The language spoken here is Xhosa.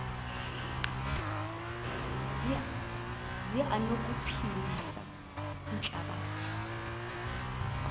zi anokuphilisa ihlabathi